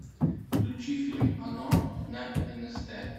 включи фильм оно на нст